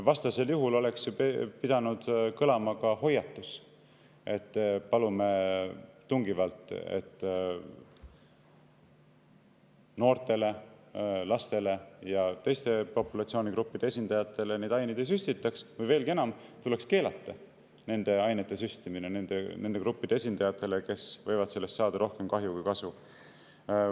Vastasel juhul oleks ju pidanud kõlama hoiatus, et palume tungivalt, et noortele, lastele ja teiste populatsioonigruppide esindajatele neid aineid ei süstitaks, või veelgi enam, tuleks keelata nende ainete süstimine nende gruppide esindajatele, kes võivad sellest saada rohkem kahju kui kasu.